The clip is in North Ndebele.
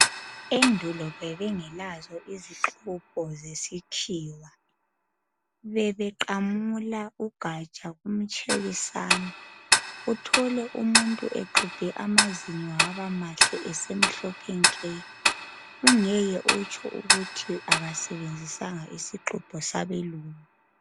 Endulo bebengelazo izixubho zesikhiwa. Bebeqamula ugaja umtshekisane uthole umuntu exubhe amazinyo abamahle esemhlophe nke. Ungeke utsho ukuthi umuntu kasebenzisanga isixubho sabelungu.